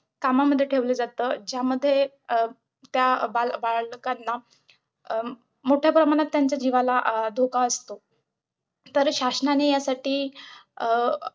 कामामध्ये ठेवलं जातं ज्यामध्ये त्या बाल बालकांना अं मोठ्याप्रमाणात त्यांच्या जीवाला अं धोका असतो. तर शासनाने यासाठी अं अं